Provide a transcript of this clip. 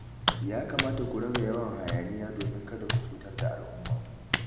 Ya kamata ku rage yawan hayaniya domin kada ku cutar da al'umma